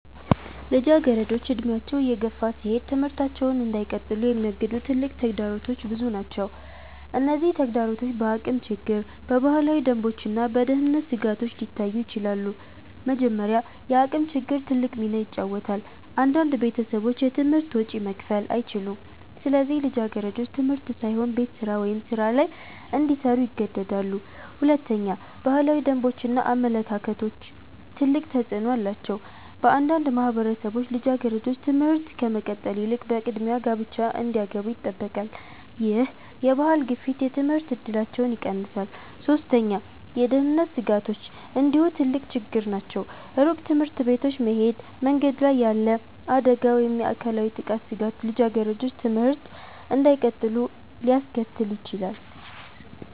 ልጃገረዶች እድሜያቸው እየገፋ ሲሄድ ትምህርታቸውን እንዳይቀጥሉ የሚያግዱ ትልቅ ተግዳሮቶች ብዙ ናቸው። እነዚህ ተግዳሮቶች በአቅም ችግር፣ በባህላዊ ደንቦች እና በደህንነት ስጋቶች ሊታዩ ይችላሉ። መጀመሪያ፣ የአቅም ችግር ትልቅ ሚና ይጫወታል። አንዳንድ ቤተሰቦች የትምህርት ወጪ መክፈል አይችሉም፣ ስለዚህ ልጃገረዶች ትምህርት ሳይሆን ቤት ስራ ወይም ሥራ ላይ እንዲሰሩ ይገደዳሉ። ሁለተኛ፣ ባህላዊ ደንቦች እና አመለካከቶች ትልቅ ተፅዕኖ አላቸው። በአንዳንድ ማህበረሰቦች ልጃገረዶች ትምህርት ከመቀጠል ይልቅ በቅድሚያ ጋብቻ እንዲገቡ ይጠበቃሉ። ይህ የባህል ግፊት የትምህርት እድላቸውን ይቀንሳል። ሶስተኛ፣ የደህንነት ስጋቶች እንዲሁ ትልቅ ችግር ናቸው። ሩቅ ትምህርት ቤቶች መሄድ፣ መንገድ ላይ ያለ አደጋ ወይም የአካላዊ ጥቃት ስጋት ልጃገረዶች ትምህርት እንዳይቀጥሉ ሊያስከትል ይችላል።